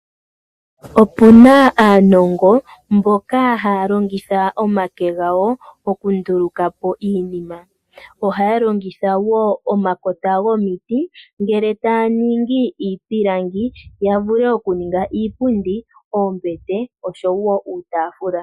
Opuna aanongo mboka haya longitha omake gawo okunduluka po iinima. Ohaya longitha omakota gomiti ndele etaya ningi iipilangi yavule okuninga iipundi, oombete nuutafula.